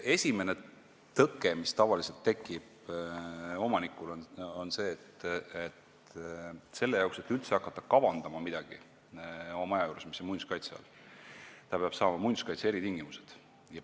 Esimene tõke, mis tavaliselt omanikul tekib, on see, et selle jaoks, et üldse hakata midagi kavandama oma maja juures, mis on muinsuskaitse all, peab ta saama muinsuskaitse eritingimused.